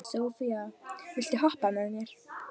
Sophia, viltu hoppa með mér?